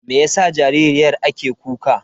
Meyasa jaririyar ake kuka?